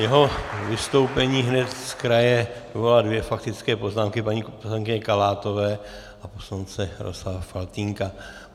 Jeho vystoupení hned z kraje vyvolalo dvě faktické poznámky, paní poslankyně Kalátové a poslance Jaroslava Faltýnka.